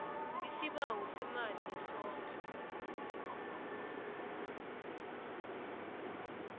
isibawo semali yesondlo